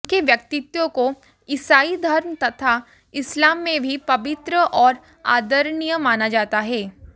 उनके व्यक्तित्व को ईसाई धर्म तथा इस्लाम में भी पवित्र और आदरणीय माना जाता है